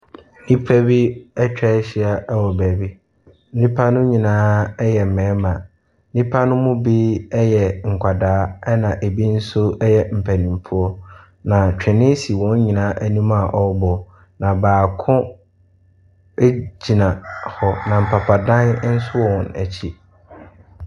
Nnipa bi atwa ahyia wɔ baabi. Nnipa no nyinaa yɛ mmarima. Nnipa no mu bi yɛ nkwadaa na ebi nso yɛ mpanimfoɔ. Na twene si wɔn nyinaa anim a wɔrebɔ. Na baako egyina hɔ. Na mpapadan nso wɔ wɔn akyi.